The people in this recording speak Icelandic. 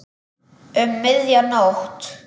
Um miðja nótt.